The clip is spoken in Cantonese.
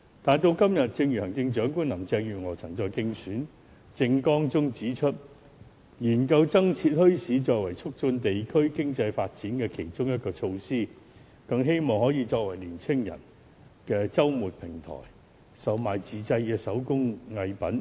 時至今天，行政長官林鄭月娥曾在其競選政綱中提出研究增設墟市，作為促進地區經濟發展的其中一個措施，更希望可以作為平台讓青年人在周末售賣自製手工藝品。